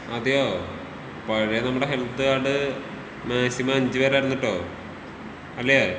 അതെയോ പഴേ നമ്മടെ ഹെൽത്ത് കാർഡ് മാക്സിമം അഞ്ച് പേരായിരുന്നു കെട്ടോ. അല്ലേ?